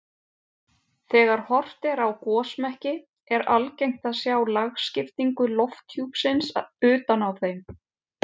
Þegar horft er á gosmekki er algengt að sjá lagskiptingu lofthjúpsins utan á þeim.